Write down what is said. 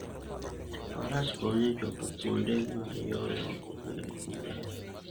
Faras konyo e chopo kuonde ma yore ok oger maber.